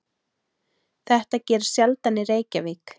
Þetta gerist sjaldan í Reykjavík.